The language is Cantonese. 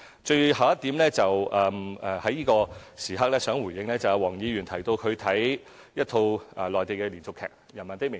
最後一點，我想在此刻回應黃議員提到一套她觀看的內地連續劇"人民的名義"。